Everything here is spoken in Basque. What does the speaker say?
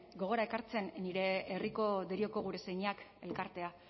gogora ekartzen nire herriko derioko gure señeak elkartea